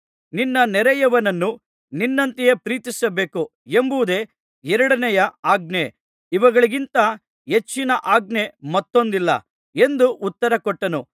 ನಿನ್ನ ನೆರೆಯವನನ್ನು ನಿನ್ನಂತೆಯೇ ಪ್ರೀತಿಸಬೇಕು ಎಂಬುದೇ ಎರಡನೆಯ ಆಜ್ಞೆ ಇವುಗಳಿಗಿಂತ ಹೆಚ್ಚಿನ ಆಜ್ಞೆ ಮತ್ತೊಂದಿಲ್ಲ ಎಂದು ಉತ್ತರ ಕೊಟ್ಟನು